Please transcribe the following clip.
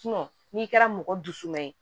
n'i kɛra mɔgɔ dusuba ye